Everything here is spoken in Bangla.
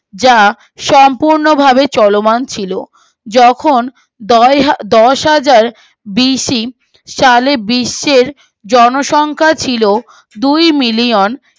যা সম্পূর্ণ ভাবে চলমান ছিল যখন দশ দশহাজার বিশ্বের জনসংখ্যা ছিল দুই মিলিয়ন